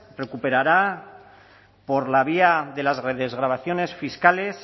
recuperará por la vía de las desgravaciones fiscales